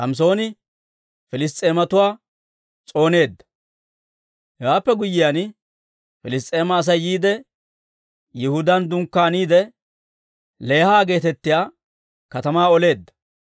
Hewaappe guyyiyaan, Piliss's'eema Asay yiide, Yihudaan dunkkaaniide Leeha geetettiyaa katamaa oleedda.